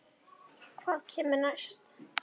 Hvað kemur næst?